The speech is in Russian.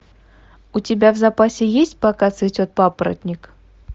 у тебя в запасе есть пока цветет папоротник